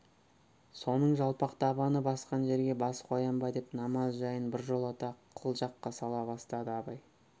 соның жалпақ табаны басқан жерге бас қоям ба деп намаз жайын біржолата қылжаққа сала бастады абай